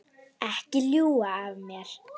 Ekki ljúga að mér.